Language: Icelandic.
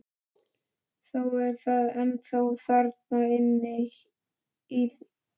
Þó er það ennþá þarna inni í sér.